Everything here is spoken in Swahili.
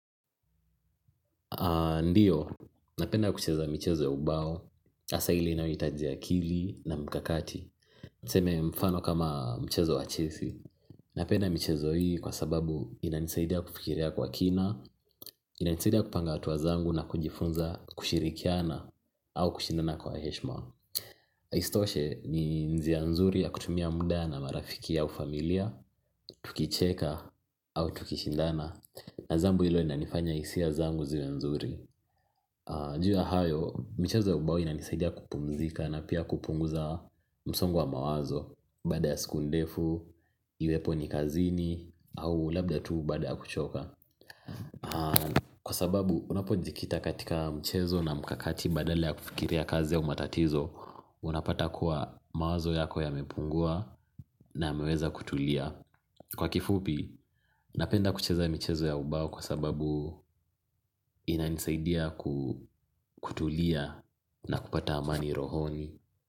Ndiyo, napenda kucheza michezo ya ubao, hasa ile inayohitaji akili na mkakati niseme mfano kama mchezo wa chesi napenda michezo hii kwa sababu inanisaidia kufikiria kwa kina inanisaidia kupanga hatua zangu na kujifunza kushirikiana au kushindana kwa heshima. Istoshe ni njia nzuri ya kutumia muda na marafiki au familia tukicheka au tukishindana na jambo hilo linanifanya hisia zangu ziwe nzuri juu ya hayo, michezo ya ubao inanisaidia kupumzika na pia kupunguza msongo wa mawazo baada ya siku ndefu, iwepo ni kazini, au labda tu baada ya kuchoka kwa sababu, unapojikita katika michezo na mkakati badala ya kufikiria kazi au matatizo unapata kuwa mawazo yako yamepungua na yameweza kutulia kwa kifupi, napenda kucheza michezo ya ubao kwa sababu inanisaidia kutulia na kupata amani rohoni.